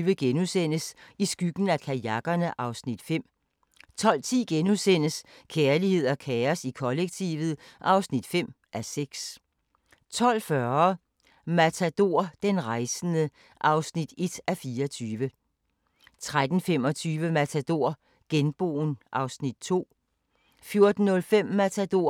23:40: Jacob Holdt – Mit liv i billeder 01:10: Joni Mitchell – Woman of Heart and Mind 02:35: Kvit eller Dobbelt (4:8)* 03:50: Kvit eller Dobbelt (søn-man) 04:50: Dagens sang: Herlig en sommernat *